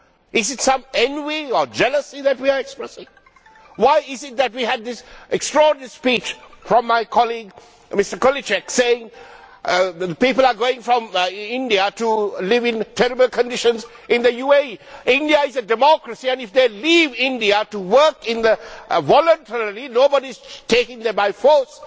Is it some envy or jealousy that we are expressing? Why is it that we had this extraordinary speech from my colleague Mr Kohlíček saying that people are going from India to live in terrible conditions in the UAE? India is a democracy and, if they leave India to work in the UAE voluntarily nobody is taking them by force